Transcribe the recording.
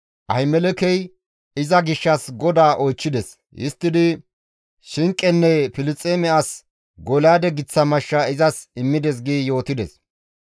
Ahimelekey iza gishshas GODAA oychchides; histtidi shinqenne Filisxeeme as Golyaade giththa mashsha izas immides» gi yootides.